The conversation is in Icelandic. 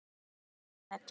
Spyrja hvern?